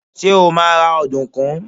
Ṣé́ ó máa ra ọ̀dùnkún?